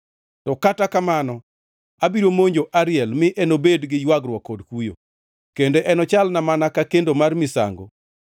To kata kamano abiro monjo Ariel mi enobedi gi ywagruok kod kuyo, kendo enochalna mana ka kendo mar misango.